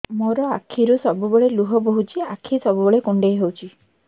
ମୋର ଆଖିରୁ ସବୁବେଳେ ଲୁହ ବୋହୁଛି ଆଖି ସବୁବେଳେ କୁଣ୍ଡେଇ ହଉଚି